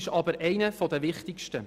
Er ist einer der wichtigsten.